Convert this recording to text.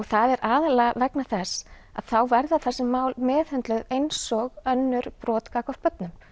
það er aðallega vegna þess að þá verða þessi mál meðhöndluð eins og önnur brot gagnvart börnum